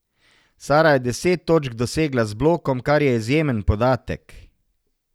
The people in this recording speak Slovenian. Sara je deset točk dosegla z blokom, kar je izjemen podatek.